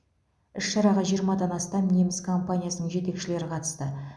іс шараға жиырмадан астам неміс компаниясының жетекшілері қатысты